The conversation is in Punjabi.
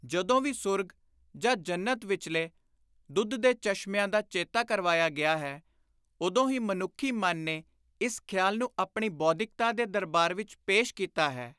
ਜਦੋਂ ਵੀ ਸੂਰਗ ਜਾਂ ਜੰਨਤ ਵਿਚਲੇ ਦੁੱਧ ਦੇ ਚਸ਼ਮਿਆਂ ਦਾ ਚੇਤਾ ਕਰਵਾਇਆ ਗਿਆ ਹੈ ਉਦੋਂ ਹੀ ਮਨੁੱਖੀ ਮਨ ਨੇ ਇਸ ਖ਼ਿਆਲ ਨੂੰ ਆਪਣੀ ਬੌਧਿਕਤਾ ਦੇ ਦਰਬਾਰ ਵਿਚ ਪੇਸ਼ ਕੀਤਾ ਹੈ।